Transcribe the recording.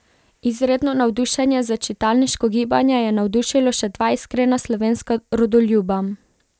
Izredno navdušenje za čitalniško gibanje je navdušilo še dva iskrena slovenska rodoljuba.